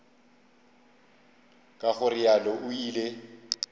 ka go realo o ile